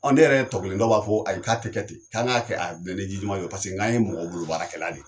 Ɔ ne yɛrɛ tɔkelen dɔ b'a fɔ ayi, k'a tɛ kɛ ten, k'an k'a kɛ paseke n'an ye mɔgɔ bolo baarakɛ la de ye.